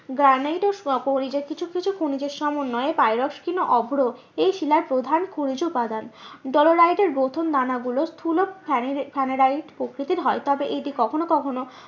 Granite ও খনিজের কিছু কিছু খনিজ সমন্বয়ে ও অভ্র এই শিলার প্রধান খনিজ উপাদান। ডলোরাইট এর গ্রথন দানা গুলো স্থুল স্যানেরাইট প্রকৃতির হয় তবে এটি কখনো কখনো